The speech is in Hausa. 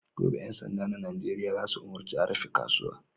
Gobe, ƴan sanda na Nijeriya za su umarci a rufe kasuwa!"